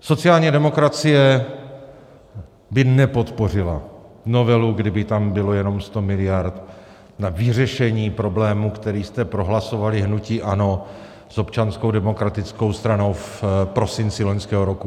Sociální demokracie by nepodpořila novelu, kdyby tam bylo jenom 100 miliard na vyřešení problému, který jste prohlasovali, hnutí ANO s Občanskou demokratickou stranou, v prosinci loňského roku.